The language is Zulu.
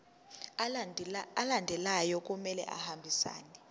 alandelayo kumele ahambisane